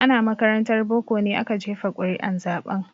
Ana makarantar boko ne aka jefa ƙuri'un zaben.